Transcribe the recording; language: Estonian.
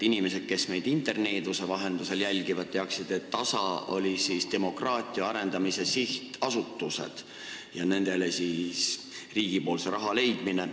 Inimestele, kes meid interneeduse vahendusel jälgivad, teadmiseks, et DASA tähendas demokraatia arendamise sihtasutusi ja neile riigi raha leidmist.